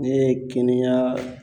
Ne ye kinneya